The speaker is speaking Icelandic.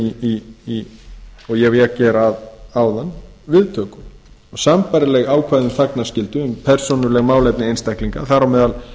um og ég vék hér að áðan viðtöku sambærileg ákvæði um þagnarskyldu um persónuleg málefni einstaklinga þar á meðal